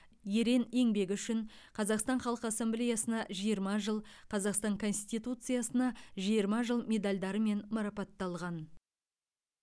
ерен еңбегі үшін қазақстан халқы ассамблеясына жиырма жыл қазақстан конституциясына жиырма жыл медальдарымен марапатталған